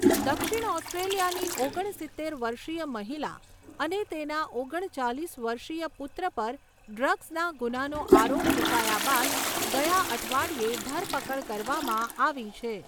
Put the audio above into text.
દક્ષિણ ઓસ્ટ્રેલિયાની ઓગણસિત્તેર વર્ષીય મહિલા અને તેના ઓગણચાલીસ વર્ષીય પુત્ર પર ડ્રગ્સના ગુનાનો આરોપ મુકાયા બાદ ગયા અઠવાડિયે ધરપકડ કરવામાં આવી છે.